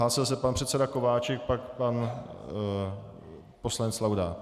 Hlásil se pan předseda Kováčik, pak pan poslanec Laudát.